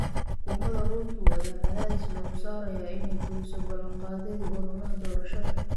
Xukuumada Ruto ayaa cadaadis lagu saarayaa inay fuliso balanqaadyadii ololaha doorashada.